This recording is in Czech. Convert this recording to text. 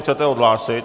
Chcete odhlásit?